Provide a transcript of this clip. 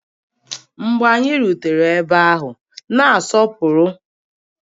Mgbe anyị rutere ebe ahụ, na-asọpụrụ